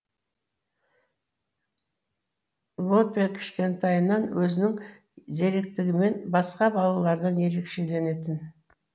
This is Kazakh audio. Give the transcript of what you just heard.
лопе кішкентайынан өзінің зеректігімен басқа балалардан ерекшеленетін